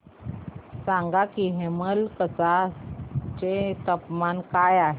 सांगा की हेमलकसा चे तापमान काय आहे